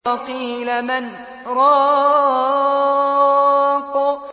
وَقِيلَ مَنْ ۜ رَاقٍ